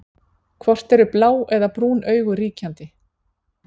hvort eru blá eða brún augu ríkjandi